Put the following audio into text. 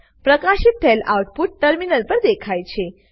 પ્રકાશિત થયેલ output terminal પર દેખાય છે